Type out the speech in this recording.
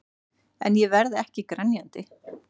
En ég verð ekki grenjandi.